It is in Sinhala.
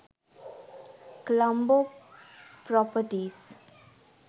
colombo properties